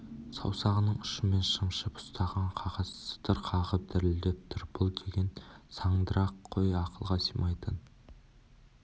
саусағының ұшымен шымшып ұстаған қағаз сытыр қағып дірілдеп тұр бұл деген сандырақ қой ақылға сыймайтын